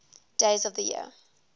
days of the year